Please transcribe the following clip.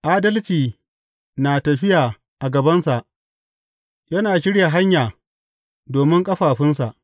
Adalci na tafiya a gabansa yana shirya hanya domin ƙafafunsa.